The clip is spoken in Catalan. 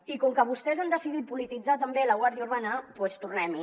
i com que vostès han decidit polititzar també la guàrdia urbana doncs tornem hi